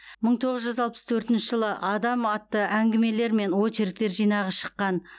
мың тоғыз жүз алпыс төртінші жылы адам атты әңгімелер мен очерктер жинағы шыққан